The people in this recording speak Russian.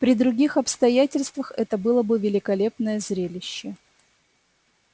при других обстоятельствах это было бы великолепное зрелище